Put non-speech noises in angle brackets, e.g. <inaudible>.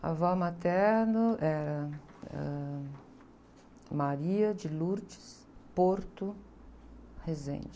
A avó materno, era, ãh. <unintelligible>